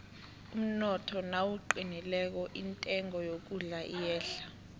umnotho nawuqinileko intengo yokudla iyehla